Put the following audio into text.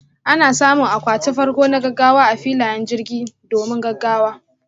Ana samun akwati farko na gaggawa a filayen jirgin, domin gaggawa.